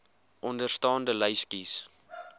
onderstaande lys kies